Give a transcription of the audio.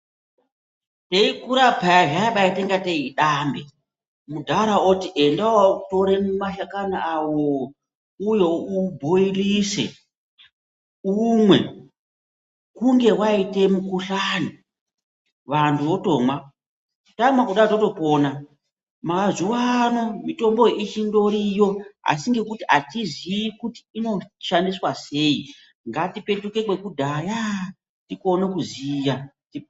Teikura peya zvaibaita kunga idambe, mudhara oti enda wotore mashakani awo uuye ubhoyilise, umwe, kunge waita mukhuhlane vantu votomwa. Tamwa kudai totopona. Mazuwano mitomboyo ichitoriyo asi atiziyi kuti inoshandiswa sei. Ngatipetuke kwekudhaya tikone kuziya.